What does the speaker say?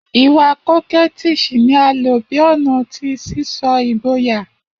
Iwa Coquettish ni a lo bi ọna ti sisọ igboya.